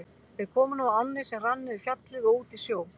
Þeir komu nú að ánni sem rann niður Fjallið og út í sjó.